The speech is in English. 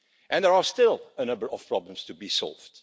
There are still a number of problems to be solved.